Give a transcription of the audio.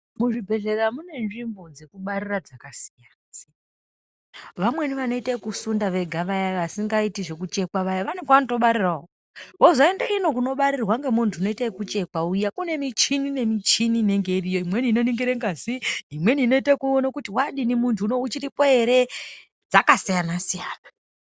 Muzvibhedhlera mune nzvimbo dzekubarira dzakasiyana siyana vamweni vanoita yekusunda vega vaya vasingaiti zvekuchekwa vane kwavanotobarirawo kozoita ino kunobarirwa ngemuntu unoita yekuchekwa kune michini nemichini inenge iriyo imweni inoningire ngazi imweni inoita yekuona kuti wadii muntu uchiripo here zvakasiyana siyana.